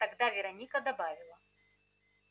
тогда вероника добавила